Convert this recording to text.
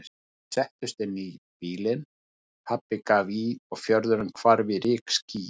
Þau settust inn í bílinn, pabbi gaf í og fjörðurinn hvarf í rykskýi.